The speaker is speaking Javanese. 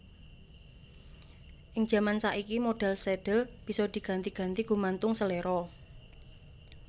Ing jaman saiki modhèl sadhel bisa diganti ganti gumantung seléra